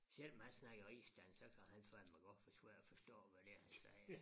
Selvom han snakker rigsdansk så kan han fandme godt være svær at forstå hvad det er han siger